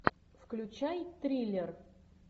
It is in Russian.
включай триллер